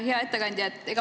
Hea ettekandja!